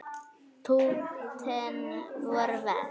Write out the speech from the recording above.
Púttin voru verst.